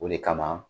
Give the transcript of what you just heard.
O de kama